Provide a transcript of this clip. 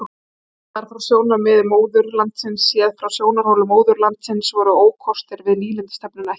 Gallar frá sjónarmiði móðurlandsins Séð frá sjónarhóli móðurlandsins voru ókostir við nýlendustefnuna ekki margir.